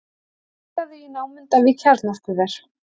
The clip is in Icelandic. Leitað í námunda við kjarnorkuver